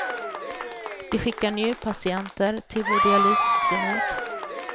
De skickar njurpatienter till vår dialysklinik.